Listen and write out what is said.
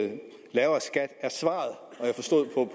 at lavere skat er svaret